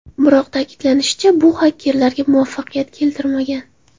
Biroq ta’kidlanishicha, bu xakerlarga muvaffaqiyat keltirmagan.